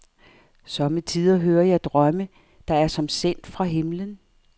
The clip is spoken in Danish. Somme tider hører jeg drømme, der er som sendt fra himmelen.